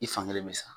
I fankelen bɛ sa